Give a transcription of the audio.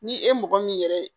Ni e ye mɔgɔ min yɛrɛ ye